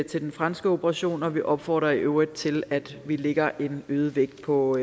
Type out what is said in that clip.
til den franske operation og vi opfordrer i øvrigt til at vi lægger en øget vægt på